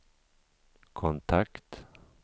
kontakt